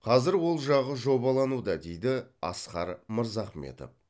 қазір ол жағы жобалануда дейді асқар мырзахметов